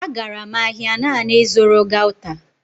Agara m ahịa naanị ịzụrụ gauta